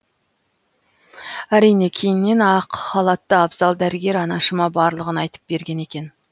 әрине кейіннен ақ халатты абзал дәрігер анашыма барлығын айтып берген екен